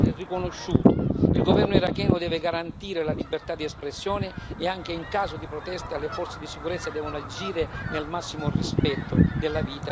Il governo iracheno deve garantire la libertà di espressione e, anche in caso di protesta, le forze di sicurezza devono agire nel massimo rispetto della vita e dei diritti umani.